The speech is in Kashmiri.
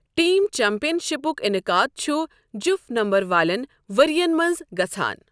ٹیم چیمپیئن شپُک انعقاد چھُ جُف نمبر والٮ۪ن ورۍ یَن منٛز گژھان۔